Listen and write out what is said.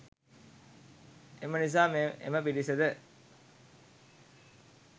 එම නිසා එම පිරිසද